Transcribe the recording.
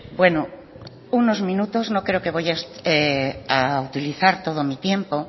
bueno unos minutos no creo que vaya a utilizar todo mi tiempo